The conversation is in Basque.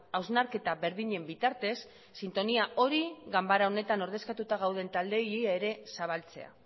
hausnarketa berdinen bitartez sintonia hori ganbara honetan ordezkatuta gauden taldeei ere zabaltzea